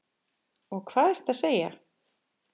Og hvað ertu að segja?